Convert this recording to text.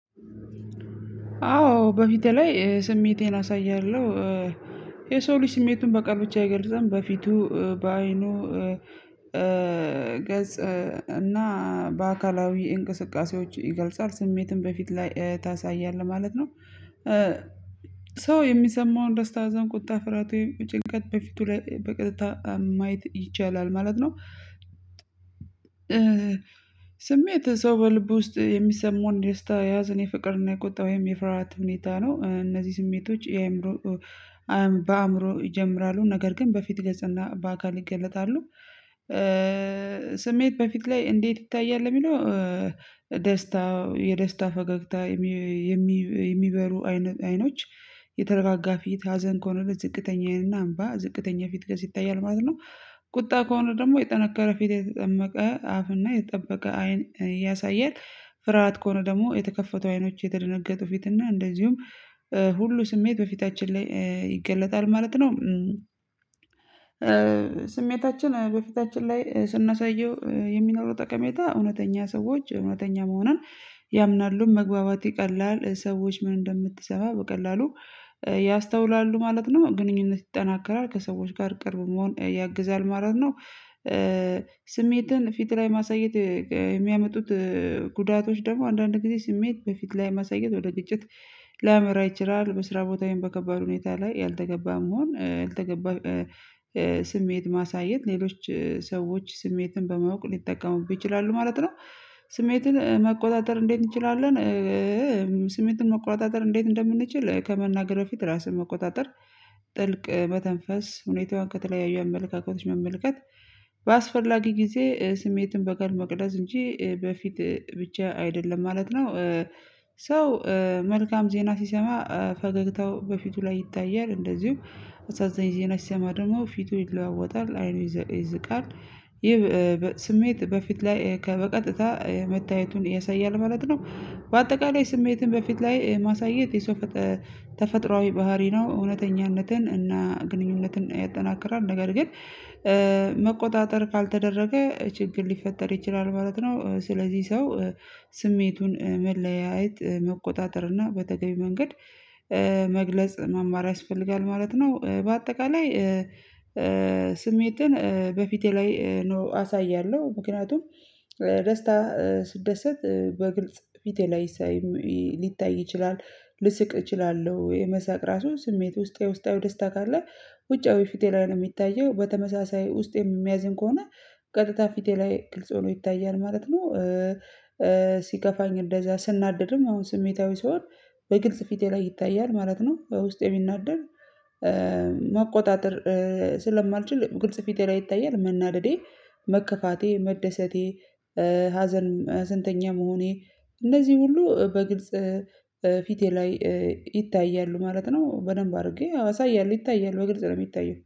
አዎ በፊቴ ላይ ስሜቴን አሳያለሁ የሰው ልጅ ስሜቱን በቃል ብቻ አይገልጸም፤ በፊቱ፣ በአይኑ ገጽ እና በአካላዊ እንቅስቃሴዎች ይገልጻል ስሜትን በፊት ላይ ታሳያለህ ማለት ነው፤ ሰው የሚሰማውን ደስታ፣ አዘን፣ ቁጣ፣ ፍራቴን፣ ጭንቀት በፊቱ ላይ በቅጥታ ማየት ይቻላል ማለት ነው፤ ስሜት ሰው በልብ ውስጥ የሚሰማውን ደስታ ያዘን የፍቅርና የቁጣ ወይም የፍርሃት ሁኔታ ነው፤ እነዚህ ስሜቶች የአእምሮ በአእምሮ ይጀምራሉ ነገር ግን በፊት ገጽና በአካል ይገለጣሉ፤ ስሜት በፊት ላይ እንዴት ይታያል የሚለው ደስታ የደስታ ፈገግታ የሚበሩ አይኖች የተረጋጋ ፊት ሀዘን ከሆነ ዝቅተኛዬንና አምባ ዝቅተኛ ፊት ገዝ ይታያል ማለት ነው፤ ቁጣ ከሆነ ደግሞ የጠነከረ ፊት የተጠመቀ አፍና የተጠበቀ አይን ያሳያል፤ ፍርሃት ከሆነ ደግሞ የተከፈቱ አይኖች የተደነገጡ ፊትና እንደዚሁም ሁሉ ስሜት በፊታችን ላይ ይገለጣል ማለት ነው፤ ስሜታችን በፊታችን ላይ ስናሳየው የሚኖረው ጠቀሜታ እውነተኛ ሰዎች እውነተኛ መሆንን ያምናሉ፤ መግባባት ይቀላል፤ ሰዎች ምን እንደምትሰማ በቀላሉ ያስተውላሉ ማለት ነው፤ ግንኙነት ይጠናከራል፤ ከሰዎች ጋር ቅርብ መሆን ያግዛል ማለት ነው። ስሜትን ፊት ላይ ማሳየት የሚያመጡት ጉዳቶች ደግሞ አንዳንድ ጊዜ ስሜት በፊት ላይ ማሳየት ወደ ግጭት ላመራ ይችላ፤ በስራ ቦታዬን በከባድ ሁኔታ ላይ ያልተገባም መሆን ያልተገባ ስሜት ማሳየት ሌሎች ሰዎች ስሜትን በማወቅ ሊጠቀሙብህ ይችላሉ ማለት ነው፤ ስሜትን መቆጣጠር እንዴት እንችላለን ስሜትን መቆጣጠር እንዴት እንደምንችል ከመናገር በፊት ራስህ መቆጣጠር ጥልቅ መተንፈስ ሁኔታዋን ከተለያዩ አመለካከቶች መመልከት በአስፈላጊ ጊዜ ስሜትን በቀል መቅደስ እንጂ በፊት ብቻ አይደለም ማለት ነው ሰው መልካም ዜና ሲሰማ ፈገግታው በፊቱ ላይ ይታያል እንደዚሁም አሳዛኝ ዜና ሲሰማ ደግሞ ፊቱ ይለዋወጣል አይኑ ይዝቃል ይህ ስሜት በፊት ላይ ከበቀጥታ መታየቱን ያሳያል ማለት ነው፤ በአጠቃላይ ስሜትን በፊት ላይ ማሳየት የሰው ተፈጥሮአዊ ባህሪ ነው እውነተኛነትን እና ግንኙነትን ያጠናክራል፤ ነገር ግን መቆጣጠር ካልተደረገ ችግር ሊፈጠር ይችላል ማለት ነው፤ ስለዚህ ሰው ስሜቱን መለያየት መቆጣጠር እና በተገቢ መንገድ መግለጽ መማር ያስፈልጋል ማለት ነው በአጠቃላይ ስሜትን በፊቴ ላይ ነው አሳያለሁ ምክንያቱም ደስታ ስደሰት በግልጽ ፊቴ ላይ ሳይ ሊታይ ይችላል ልስቅ እችላለሁ የመሳቅ ራሱ ስሜት ውስጥ የውስጣዊ ደስታ ካለ ውጫዊ ፊቴ ላይ ነው የሚታየው በተመሳሳይ ውስጥ የሚያዝን ከሆነ ቀጥታ ፊቴ ላይ ግልጽ ሆኖ ይታያል ማለት ነው፤ ሲከፋኝ እንደዛ ስናደድም አሁን ስሜታዊ ስሆን በግልጽ ፊቴ ላይ ይታያል ማለት ነው። ውስጥ የሚናደድ ማቆጣጠር ስለማልችል ግልጽ ፊቴ ላይ ይታያል መናደዴ መከፋቴ መደሰቴ ሀዘን ስንተኛ መሆኔ እንደዚህ ሁሉ በግልጽ ፊቴ ላይ ይታያሉ ማለት ነው፤ በደንብ አድርጌ አሳያለሁ ይታያል በግልጽ ነው የሚታየው